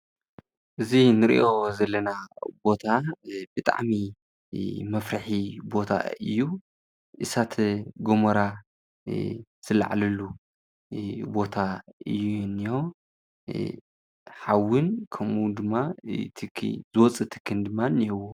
እዚ ንሪኦ ዘለና ቦታ በጣዕሚ መፍሪሒ ቦታ እዩ ። እሳተ-ጎሞራ ዝለዓለሉ ቦታ እዩ እኒሆ። ሓዊን ከምኡ ድማ ዝወፅእ ትኪ እንሄዎ።